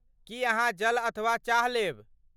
की अहाँ जल अथवा चाह लेब?